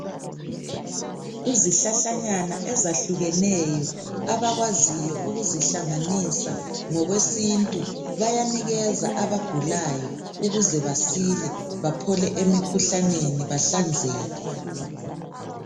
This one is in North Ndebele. Izihlahlanyana ezahlukeneyo abakwaziyo ukuzihlanganisa ngokwesintu bayanikeza abagulayo ukuze basile baphole emikhuhlaneni bahlanzeke.